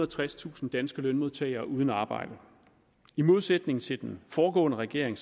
og tredstusind danske lønmodtagere uden arbejde i modsætning til den foregående regering